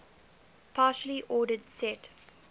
partially ordered set